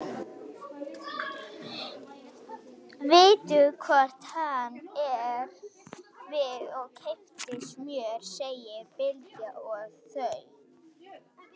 Vittu hvort hann er við og keyptu smjör, segir Bylgja og þau